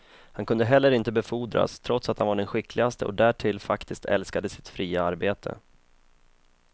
Han kunde heller inte befordras trots att han var den skickligaste och därtill faktiskt älskade sitt fria arbete.